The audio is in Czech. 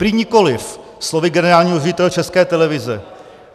Prý nikoliv, slovy generálního ředitele České televize.